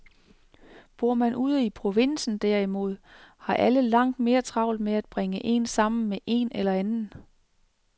Bor man ude i provinsen derimod, har alle langt mere travlt med at bringe en sammen med en eller anden.